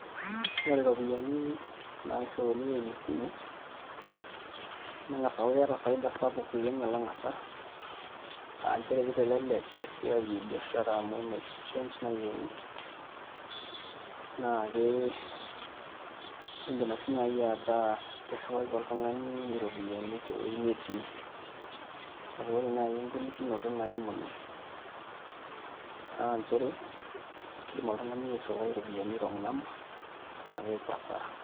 Ore iropiyiani nairriuni eimu esimu neng'as aaku keeta faida kumok alang' hasara aa nchere kitelelek esiai e biashara amu metii change nayieuni naa ke iindima ake sii naai ataa irriwaki olrung'ani iropiyiani tewuei netii, kake ore naai engolikinoto naimu ine naa nchere kiidim oltung'ani airriwai iropiyiani wrong number naa keeku hasara.